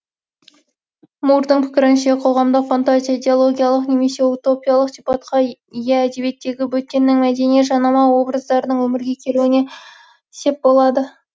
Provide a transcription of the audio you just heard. мурдың пікірінше қоғамдық фантазия идеологиялық немесе утопиялық сипатқа ие әдебиеттегі бөтеннің мәдени жанама образдарының өмірге келуіне сеп болады